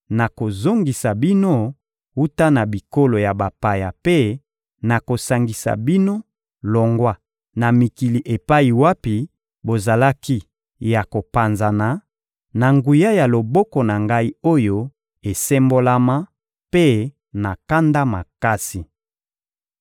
nakozongisa bino wuta na bikolo ya bapaya mpe nakosangisa bino longwa na mikili epai wapi bozalaki ya kopanzana, na nguya ya loboko na Ngai oyo esembolama mpe na kanda makasi.